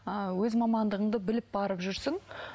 ыыы өз мамандығыңды біліп барып жүрсің